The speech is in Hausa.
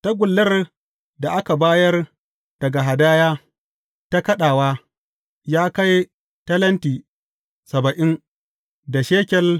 Tagullar da aka bayar daga hadaya ta kaɗawa ya kai talenti saba'in da shekel